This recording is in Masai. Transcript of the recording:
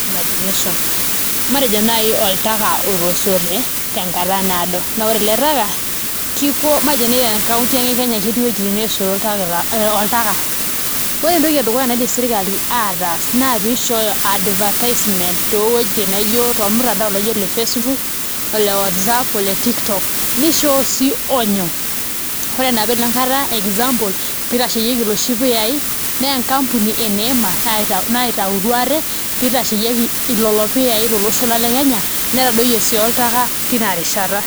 Matejo naai oltaka otasote tenkata naado naa ore ele taka matejo naai ore toonkauntini ang' e Kenya ketii uweejitin neesoto iltakitakani ee oltaka, ore entoki edukuya naidim sirkali ataas naa pee ishooyo advertisement tormutandao laa ijio ole Facebook ole Whatsapp ole TikTok nishooyo sii onyo ore enapaelong' kata example pee itasheyieki ilapa puyaai naa enkampuni e NEMA naitautoi ate pee itasheyieki ilelo puyaai tolosho lang' le Kenya netadoyie sii oltaka tina rishata.